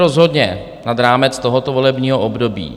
Rozhodně nad rámec tohoto volebního období.